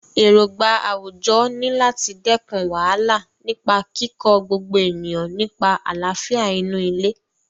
Èrògbà àwùjọ ni láti dẹ́kun wàhálà nípa kíkọ́ gbogbo ènìyàn nípa àlàáfíà inú ilé.